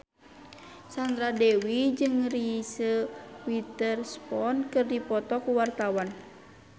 Sandra Dewi jeung Reese Witherspoon keur dipoto ku wartawan